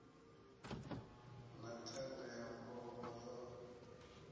na ṱhanga ya mulomo yo